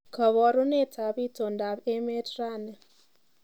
Kaborunetab itondoab emet rani